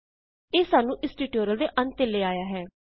ਇਹ ਸਾਨੂੰ ਇਸ ਟਿਯੂਟੋਰਿਅਲ ਦੇ ਅੰਤ ਤੇ ਲੈ ਆਇਆ ਹੈ